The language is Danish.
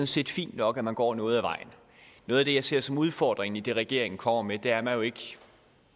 set fint nok at man går noget ad vejen noget af det jeg ser som udfordringen i det regeringen kommer med er at man jo ikke